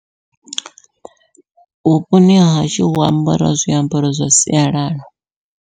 Vhuponi hahashu hu ambariwa zwiambaro zwa sialala.